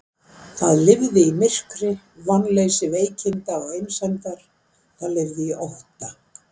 Það lifði í myrkri, vonleysi veikinda og einsemdar, það lifði í ótta.